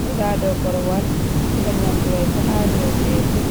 joɗa ha dou korwal, siga nyamdu mai bo ha ɗou tebul.